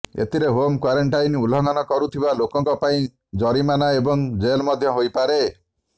ଏଥିରେ home quarantine ଉଲ୍ଲଂଘନ କରୁଥିବା ଲୋକଙ୍କ ପାଇଁ ଜରିମନା ଏବଂ ଜେଲ୍ ମଧ୍ୟ ହୋଇପାରେ